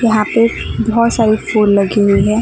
यहां पर बहुत सारी फुल लगी हुई है।